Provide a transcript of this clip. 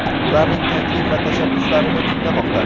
ularning taklif va tashabbuslarini tinglamoqda.